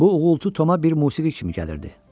Bu uğultu Toma bir musiqi kimi gəlirdi.